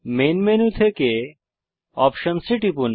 main মুখ্য menu থেকে options এ টিপুন